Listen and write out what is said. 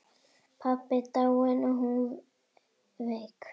Pabbi dáinn og hún veik.